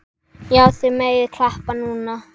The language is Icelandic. Já, þið megið klappa núna.